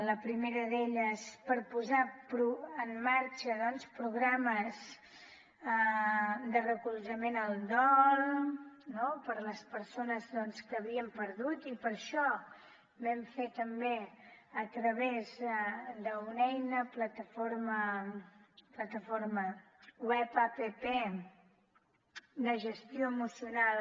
la primera d’elles per posar en marxa programes de recolzament al dol per a les persones que havien perdut i per això vam fer també a través d’una eina una plataforma web app de gestioemocional